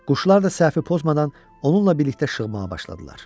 Quşlar da səhvi pozmadan onunla birlikdə şığmağa başladılar.